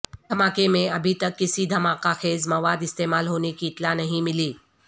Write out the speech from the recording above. دھماکے میں ابھی تک کسی دھماکہ خیز مواد استعمال ہونے کی اطلاع نہیں ملی